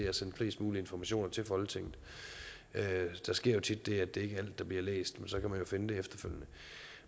at sende flest mulige informationer til folketinget der sker tit det at det der bliver læst